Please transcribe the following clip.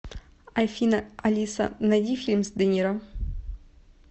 афина алиса найди фильм с де ниро